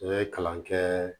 N bɛ kalan kɛɛ